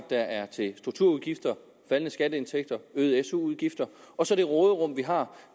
der er til strukturudgifter faldende skatteindtægter og øgede su udgifter og så det råderum vi har